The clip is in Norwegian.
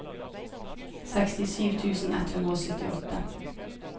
sekstisju tusen ett hundre og syttiåtte